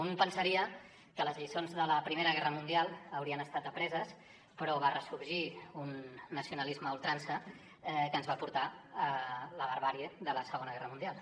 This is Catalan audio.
un pensaria que les lliçons de la primera guerra mundial haurien estat apreses però va ressorgir un nacionalisme a ultrança que ens va portar la barbàrie de la segona guerra mundial